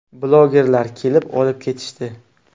Blogerlar kelib, olib ketishdi.